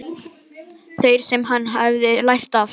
Þeirri sem hann hefði lært af.